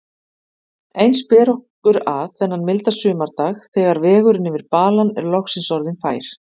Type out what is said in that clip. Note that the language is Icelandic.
Eins ber okkur að, þennan milda sumardag þegar vegurinn yfir balann er loksins orðinn fær.